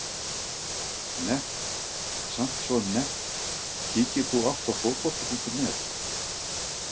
nett, samt svo nett Kíkir þú oft á Fótbolti.net?